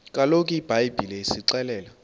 kaloku ibhayibhile isixelela